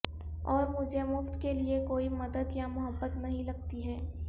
اور مجھے مفت کے لئے کوئی مدد یا محبت نہیں لگتی ہے